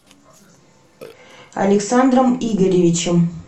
александром игоревичем